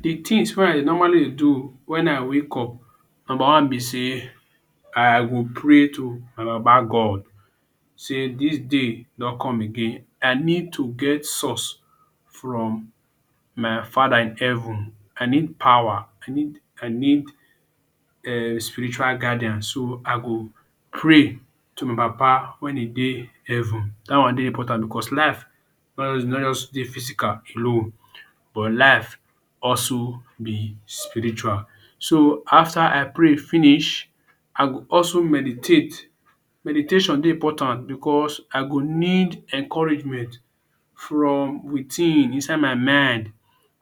The things wey i normally dey do when i wake up. Number one be sey, I go pray to my baba God say dis day don come again, i need to get source from my father in heaven. I need power. I need I need um spiritual guidance. So, i go pray to my baba wen e dey heaven. Dat one dey important because life no easy, no just dey physical you know but life also be spiritual. So, after I pray finish, I go also meditate. Meditation dey important because i go need encouragement from within, inside my mind.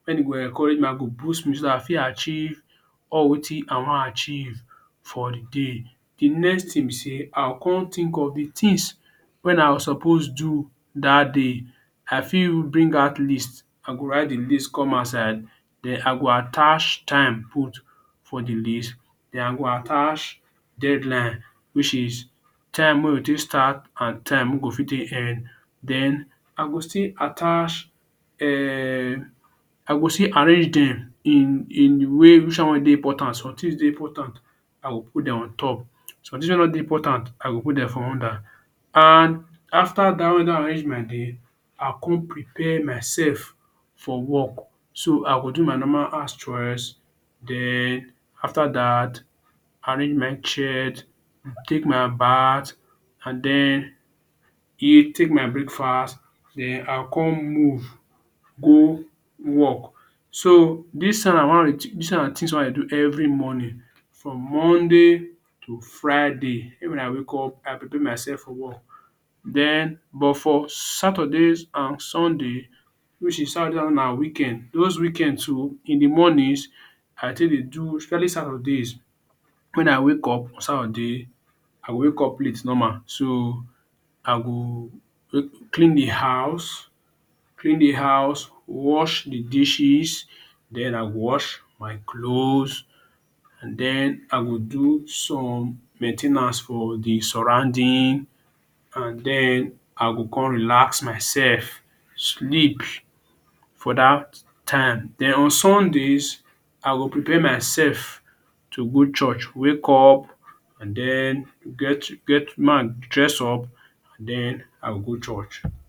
When e go encourage me, i go boost spiritually. I fit achieve all wetin i wan achieve for the day. The next thing be sey i go con think of the things wey i suppose do dat day. I fit even bring out list. I go write the list come outside den i go attach time put for the list. Den i go attach deadline which is time make we take start and time make we fit take end. Den i go still attach um I go still arrange dem in in way which one wey dey important, somethings dey important, i go put dem on top. Somethings wey no dey important, i go put dem for under. And after dat when you don arrange my day, i go con prepare myself for work. So, i go do my normal house chores. Den after dat, arrange my shirt, take my bath and den eat, take my breakfast. Den I go con move go work. So, dis thing na one of dis na the things wey I dey do every morning from monday to friday. When i wake up, I prepare myself for work. Den but for saturdays and sunday which is saturday na weekend, most weekend too in the morning I take dey do every saturdays when i wake up on Saturday, I wake up late normal, so, i go clean the house clean the house, wash the dishes, den i go wash my cloths and den i go do some main ten ance for the surrounding and den i go con relax myself sleep for dat time. Den on sundays, I go prepare myself to go church. Wake up and den get get dress up and den i go go church.